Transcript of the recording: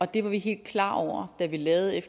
det var vi helt klar over da vi lavede